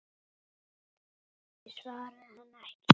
Ég svaraði henni ekki.